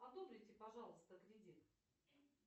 одобрите пожалуйста кредит